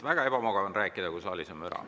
Väga ebamugav on rääkida, kui saalis on müra.